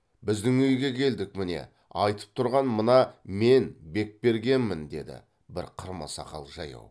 біздің үйге келдік міне айтып тұрған мына мен бекбергенмін деді бір қырма сақал жаяу